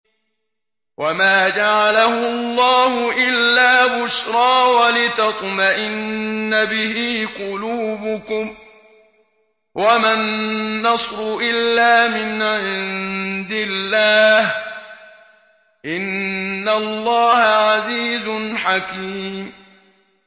وَمَا جَعَلَهُ اللَّهُ إِلَّا بُشْرَىٰ وَلِتَطْمَئِنَّ بِهِ قُلُوبُكُمْ ۚ وَمَا النَّصْرُ إِلَّا مِنْ عِندِ اللَّهِ ۚ إِنَّ اللَّهَ عَزِيزٌ حَكِيمٌ